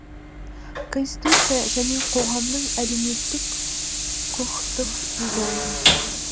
конституция және қоғамның әлеуметтік құқықтық дизайны